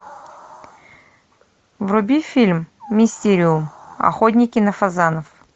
вруби фильм мистериум охотники на фазанов